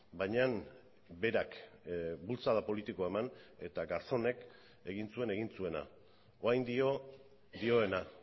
baina berak bultzada politikoa eman eta garzónek egin zuen egin zuena orain dio dioena